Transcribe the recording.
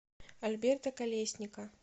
альберта колесника